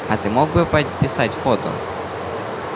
а ты мог бы подписать фото